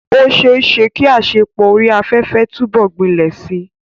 Ó ṣeé ṣe kí àṣepọ̀ orí afẹ́fẹ́ túbọ̀ gbilẹ̀ síi.